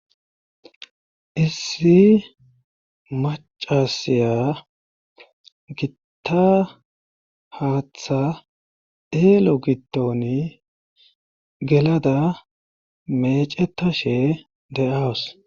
issi macasiya gitta haaththa eelo gidoni gelada mecetashe de7aws